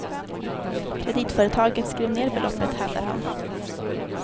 Kreditföretaget skrev ned beloppet, hävdar han.